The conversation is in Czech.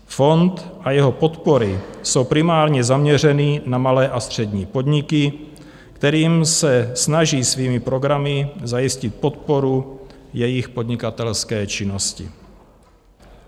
Fond a jeho podpory jsou primárně zaměřeny na malé a střední podniky, kterým se snaží svými programy zajistit podporu jejich podnikatelské činnosti.